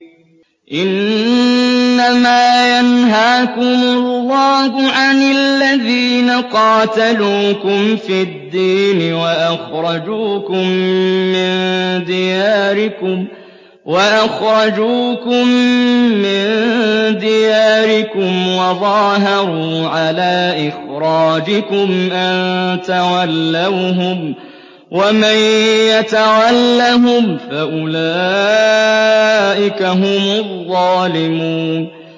إِنَّمَا يَنْهَاكُمُ اللَّهُ عَنِ الَّذِينَ قَاتَلُوكُمْ فِي الدِّينِ وَأَخْرَجُوكُم مِّن دِيَارِكُمْ وَظَاهَرُوا عَلَىٰ إِخْرَاجِكُمْ أَن تَوَلَّوْهُمْ ۚ وَمَن يَتَوَلَّهُمْ فَأُولَٰئِكَ هُمُ الظَّالِمُونَ